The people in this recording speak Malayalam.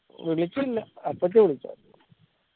വിളിച്ചില്ല അപ്പച്ചി വിളിച്ചായർന്ന്